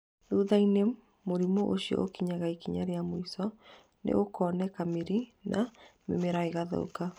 Thutha-inĩ mũrimũ ũcio ũgakinya ikinya rĩa mũico, nĩ ũkuoneka mĩri na mĩmera ĩgathũka.